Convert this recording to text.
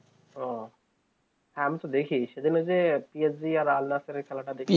ওহ হ্যাঁ আমি তো দেখি সেদিন ওই যে PSG আর আলনায়াসের খেলা টা